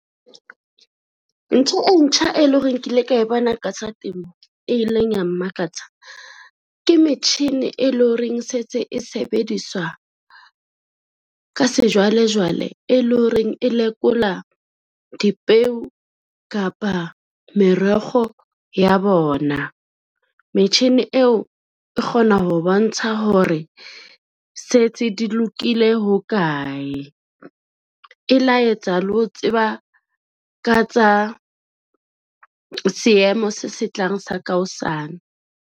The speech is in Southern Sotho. Ntho e ntjha, e lo reng kile ka e bana ka tsa temo, e ileng ya mmakatsa ke metjhinine lo reng e setse e sebediswa ka sejwalejwale, e lo reng e lekola dipeo kapa merego ya bona. Metjhini eo e kgona ho bontsha hore setse di lokile ho kae, e laetsa le ho tseba ka tsa seemo se se tlang sa ka hosane.